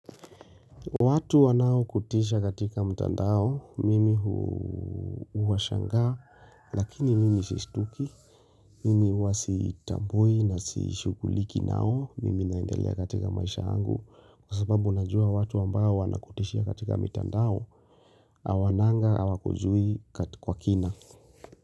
Watu wanaokutisha katika mtandao, mimi huwashangaa, lakini mimi siishtuki, mimi huwa sitambui na sishughuliki nao, mimi naendelea katika maisha yangu, kwa sababu najua watu ambao wanakutisha katika mtandao, awananga, awakujui kwa kina.